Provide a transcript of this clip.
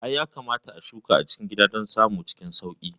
I, yakamata a shuka a gida don samun cikin sauƙi